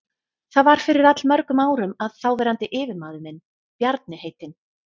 Það var fyrir allmörgum árum að þáverandi yfirmaður minn, Bjarni heitinn